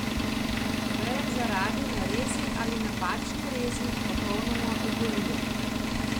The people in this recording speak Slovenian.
Veje zaradi nerezi ali napačne rezi popolnoma ogolijo.